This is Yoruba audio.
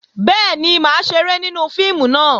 Bẹ́ẹ̀ni, mà á ṣeré nínú fíìmù náà